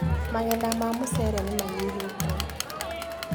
Magetha ma mũcere nĩmanyihĩte.